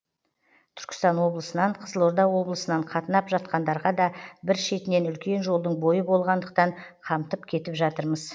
түркістан облысынан қызылорда облысынан қатынап жатқандарға да бір шетінен үлкен жолдың бойы болғандықтан қамтып кетіп жатырмыз